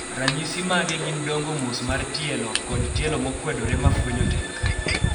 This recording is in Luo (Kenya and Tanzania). ranyisi mage gin dongo mos mar tielo kod tielo mokwedore mafwenyo tek